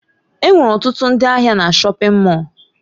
Enwere ọtụtụ ndị ahịa na shọpin Mọll.